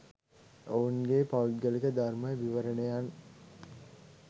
ඔවුන්ගේ පෞද්ගලික ධර්ම විවරණයන්